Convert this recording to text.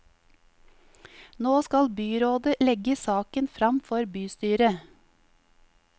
Nå skal byrådet legge saken frem for bystyret.